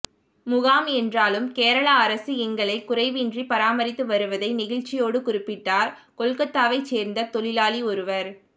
முகாம் என்றாலும் கேரளா அரசு எங்களைக் குறைவின்றிப் பராமரித்து வருவதை நெகிழ்ச்சியோடு குறிப்பிட்டார் கொல்கத்தாவைச் சேர்ந்த தொழிலாளி ஒருவர்